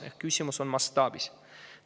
Ehk küsimus on mastaabis.